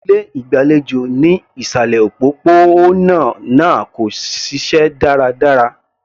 Ilé ìgbàlejò ní ìsàlẹ̀ òpópó-ònà náà kò ṣiṣẹ́ dáradára.